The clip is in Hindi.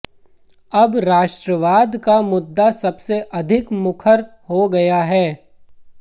अब राष्ट्रवाद का मुद्दा सबसे अधिक मुखर हो गया है